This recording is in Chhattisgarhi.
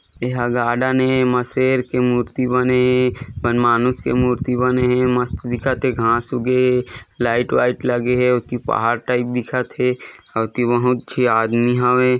एहा गार्डन हे एमा शेर के मूर्ति बने हे वन मानुश के मूर्ति बने हे मस्त दिखत हे घास उगे हे लाइट वाइट लगे हे ओती पहाड़ टाइप दिखत हे अउ ओती बहुत झी आदमी हवे।